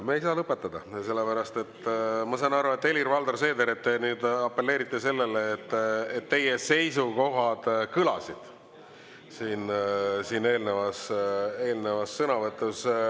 Me ei saa lõpetada, sellepärast, ma saan aru, Helir-Valdor Seeder, et te nüüd apelleerite sellele, et teie seisukohad kõlasid siin eelnevas sõnavõtus.